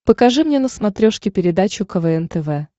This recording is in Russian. покажи мне на смотрешке передачу квн тв